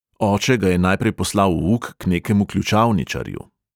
Oče ga je najprej poslal v uk k nekemu ključavničarju.